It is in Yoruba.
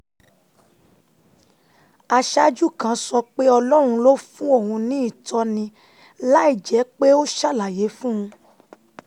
aṣáájú kan sọ pé ọlọ́run ló fún òun ní ìtọ́ni láìjẹ́ pé ó ṣàlàyé fún un